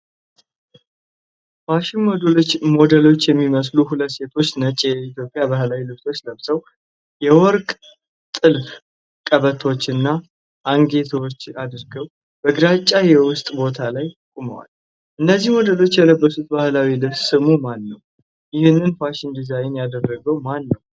ፋሽን ሞዴሎች የሚመስሉ ሁለት ሴቶች ነጭ የኢትዮጵያ ባህላዊ ልብሶችን ለብሰው፣ የወርቅ ጥልፍ ቀበቶዎችና አንገትጌዎች አድርገው፣ በግራጫ የውስጥ ቦታ ላይ ቆመዋል። እነዚህ ሞዴሎች የለበሱት ባህላዊ ልብስ ስሙ ማን ነው? ይህንን ፋሽን ዲዛይን ያደረገው ማን ነው?